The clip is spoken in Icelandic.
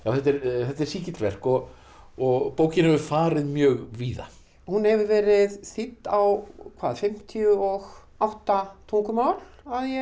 þetta er sígilt verk og og bókin hefur farið mjög víða hún hefur verið þýdd á hvað fimmtíu og átta tungumál að ég